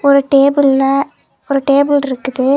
ஒரு டேபிள்ல ஒரு டேபிள் இருக்குது.